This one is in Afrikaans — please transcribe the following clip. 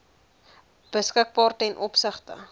beskikbaar ten opsigte